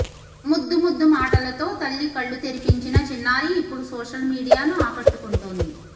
ముద్దు ముద్దు మాటలతో తల్లి కళ్లు తెరిపించిన చిన్నారి ఇప్పుడు సోషల్ మీడియాను ఆకట్టుకుంటోంది